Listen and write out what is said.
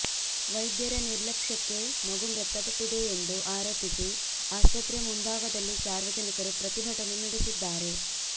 ವೈದ್ಯರ ನಿರ್ಲಕ್ಷ್ಯಕ್ಕೆ ಮಗು ಮೃತಪಟ್ಟಿದೆಯೆಂದು ಆರೋಪಿಸಿ ಆಸ್ಪತ್ರೆ ಮುಂಭಾಗದಲ್ಲಿ ಸಾರ್ವಜನಿಕರು ಪ್ರತಿಭಟನೆ ನಡೆಸಿದ್ದಾರೆ